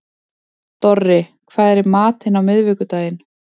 Dorri, hvað er í matinn á miðvikudaginn?